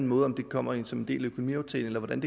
måde om det kommer ind som en del af økonomiaftalen eller hvordan